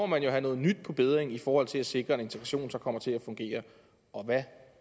man jo have noget nyt på bedding i forhold til at sikre at integrationen så kommer til at fungere og hvad